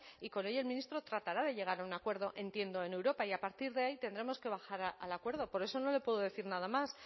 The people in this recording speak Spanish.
y con ello el ministro tratará de llegar a un acuerdo entiendo en europa y a partir de ahí tendremos que bajar al acuerdo por eso no le puedo decir nada más